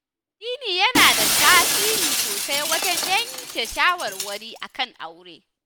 Addini yana da tasiri sosai wajen yanke shawarwari akan aure